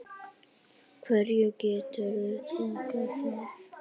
Hverju geturðu þakkað það?